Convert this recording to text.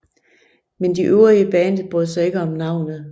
Men de øvrige i bandet brød sig ikke om navnet